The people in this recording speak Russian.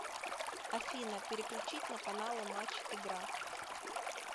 афина переключить на каналы матч игра